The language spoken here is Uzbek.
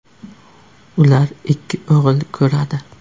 Ular ikki o‘g‘il ko‘radi.